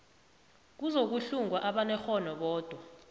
kuzokuhlungwa abanekghono bodwa